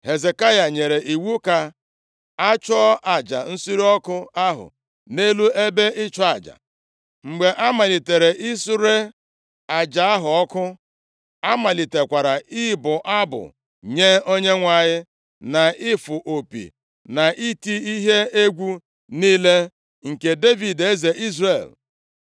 Hezekaya nyere iwu ka a chụọ aja nsure ọkụ ahụ nʼelu ebe ịchụ aja. Mgbe a malitere isure aja ahụ ọkụ, a malitekwara ịbụ abụ nye Onyenwe anyị, na ịfụ opi na iti ihe egwu niile nke Devid, eze Izrel.